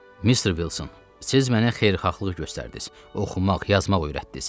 Mister Wilson, siz mənə xeyirxahlıq göstərdiniz, oxumaq, yazmaq öyrətdiniz.